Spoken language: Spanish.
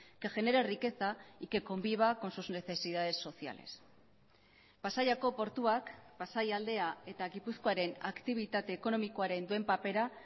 que genere riqueza y que conviva con sus necesidades sociales pasaiako portuak pasaialdea eta gipuzkoaren aktibitate ekonomikoaren duen papera